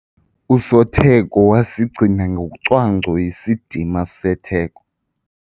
Usotheko wasigcina ngocwangco isidima setheko.